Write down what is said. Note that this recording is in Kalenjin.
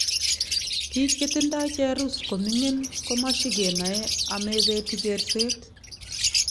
piig chetindoi cherus komingin komashigenae amepeti kerset